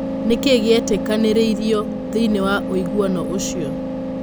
Nĩkĩĩ gĩetĩkanĩririo thĩinĩĩ wa ũiguano ũcio?